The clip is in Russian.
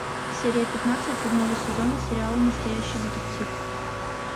серия пятнадцать седьмого сезона сериала настоящий детектив